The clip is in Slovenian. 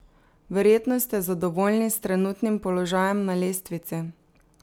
Verjetno ste zadovoljni s trenutnim položajem na lestvici?